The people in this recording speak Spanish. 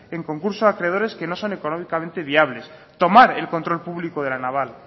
en concurso de acreedores que no son económicamente viables tomar el control público de la naval